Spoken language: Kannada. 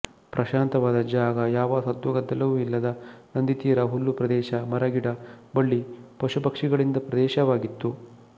ಪ್ರಶಾಂತವಾದ ಜಾಗ ಯಾವ ಸದ್ದುಗದ್ದಲವೂ ಇಲ್ಲದ ನದಿತೀರ ಹುಲ್ಲು ಪ್ರದೇಶ ಮರಗಿಡ ಬಳ್ಳಿ ಪಶುಪಕ್ಷಿಗಳಿಂದ ಪ್ರದೇಶವಾಗಿತ್ತು